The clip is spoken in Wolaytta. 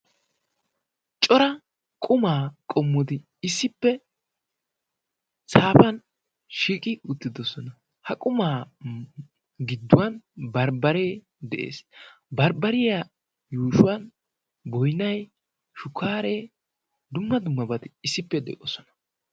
Cora qumaa qommudi issippe saafan shiiqi uttidosona ha qumaa gidduwan barbbaree de'ees. barbbariya yuushuwan boinai shukkaaree dumma dummabati issippe de'oosona.